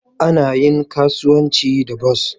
Ana iya kasuwanci da bas